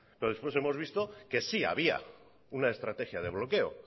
pero después hemos visto que sí había una estrategia de bloqueo